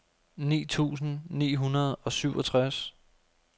ni tusind ni hundrede og syvogtres